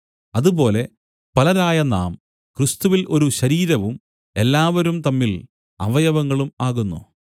അതുപോലെ പലരായ നാം ക്രിസ്തുവിൽ ഒരു ശരീരവും എല്ലാവരും തമ്മിൽ അവയവങ്ങളും ആകുന്നു